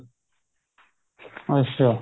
ਅੱਛਾ